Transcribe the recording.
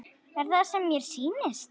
Er það sem mér sýnist?